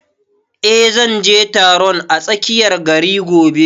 Eh, zan je taron a tsakiyar gari gobe